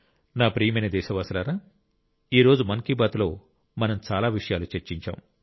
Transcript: నా ప్రియమైన దేశవాసులారా ఈ రోజు మన్ కీ బాత్లో మనం చాలా విషయాలు చర్చించాం